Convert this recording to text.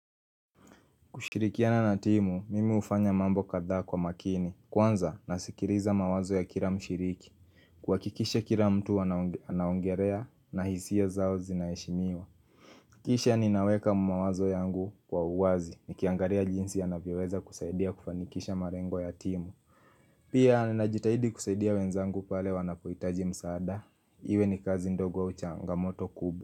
Kushirikiana na timu, mimi hufanya mambo kadhaa kwa makini. Kwanza, nasikiliza mawazo ya kila mshiriki. Kuhakikisha kila mtu anaongelea na hisia zao zinaheshimiwa. Kisha ninaweka mawazo yangu kwa uwazi. Nikiangalia jinsi anavyoweza kusaidia kufanikisha malengo ya timu. Pia, ninajitahidi kusaidia wenzangu pale wanapohitaji msaada. Iwe ni kazi ndogo au changamoto kubwa.